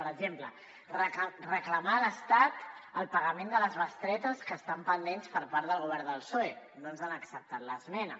per exemple reclamar a l’estat el pagament de les bestretes que estan pendents per part del govern del psoe no ens han acceptat l’esmena